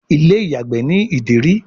Ilé-ìyàgbé ní Ìdérí.